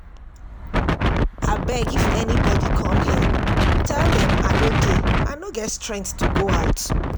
Abeg if anybody come here tell dem I no dey, I no get strength to go out